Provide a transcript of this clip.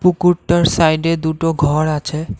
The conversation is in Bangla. পুকুরটার সাইডে দুটো ঘর আছে।